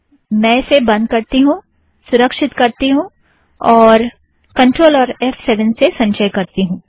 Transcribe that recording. मैं इसे बंध करती हूँ सुरक्षित करती हूँ और कंट्रोल और एफ़ सेवन से संचय करती हूँ